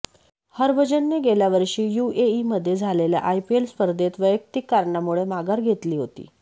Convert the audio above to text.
हरभजनने गेल्या वर्षी युएईमध्ये झालेल्या आयपीएल स्पर्धेत वैयक्तीक कारणामुळे माघार घेतली होती